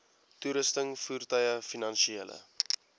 toerusting voertuie finansiële